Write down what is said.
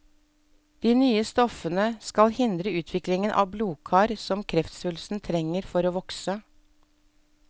De nye stoffene skal hindre utviklingen av blodkar som kreftsvulsten trenger for å vokse.